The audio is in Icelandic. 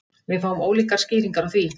Við fáum ólíkar skýringar á því